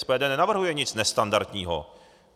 SPD nenavrhuje nic nestandardního.